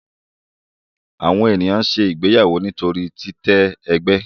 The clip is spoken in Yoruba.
Àwọn ènìyàn ṣe ìgbéyàwó nítorí titẹ ègbé.